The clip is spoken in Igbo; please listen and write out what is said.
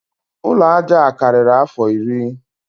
Ụlọ aja a karịrị afọ iri